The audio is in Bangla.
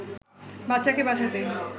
বাচ্চাকে বাঁচাতে